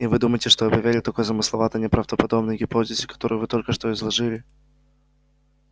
и вы думаете что я поверю такой замысловатой неправдоподобной гипотезе которую вы только что изложили